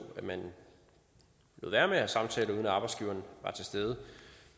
at man lod være med at have samtaler uden at arbejdsgiveren var til stede